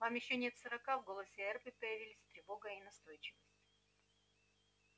вам ещё нет сорока в голосе эрби появились тревога и настойчивость